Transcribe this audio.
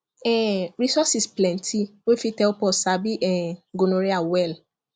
um resources plenty wey fit help us sabi um gonorrhea well